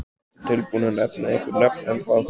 Ertu tilbúinn að nefna einhver nöfn ennþá?